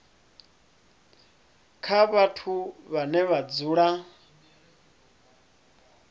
kha vhathu vhane vha dzula